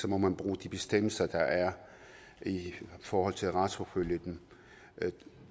må man bruge de bestemmelser der er i forhold til at retsforfølge dem